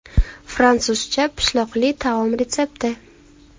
Fransuzcha pishloqli taom retsepti.